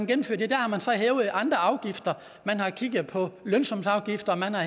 gennemført har man så hævet andre afgifter man har kigget på lønsumsafgifter og man har